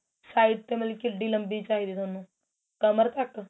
side ਤੇ ਮਤਲਬ ਕਿਡੀ ਲੰਬੀ side ਚਾਹੀਦੀ ਤੁਹਾਨੂੰ ਕਮਰ ਤੱਕ